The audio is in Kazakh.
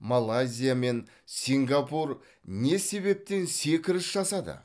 малайзия мен сингапур не себептен секіріс жасады